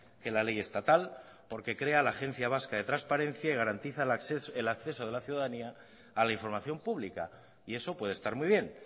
que la ley estatal porque crea la agencia vasca de transparencia y garantiza el acceso de la ciudadanía a la información pública y eso puede estar muy bien